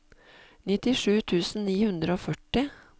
nittisju tusen ni hundre og førti